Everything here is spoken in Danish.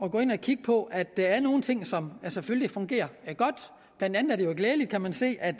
at gå ind og kigge på at der er nogle ting som selvfølgelig fungerer godt blandt andet er det jo glædeligt kan man se at